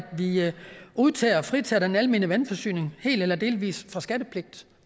vi udtager og fritager den almene vandforsyning helt eller delvis fra skattepligt